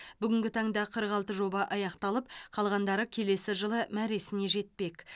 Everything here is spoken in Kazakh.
бүгінгі таңда қырық алты жоба аяқталып қалғандары келесі жылы мәресіне жетпек